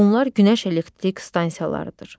Bunlar günəş elektrik stansiyalarıdır.